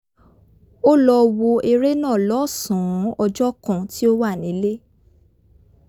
ó lọ wo eré náà lọ́sàn-án ọjọ́ kan tí ó wà nílé